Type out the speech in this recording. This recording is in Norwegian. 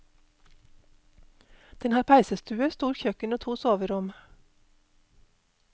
Den har peisestue, stort kjøkken og to soverom.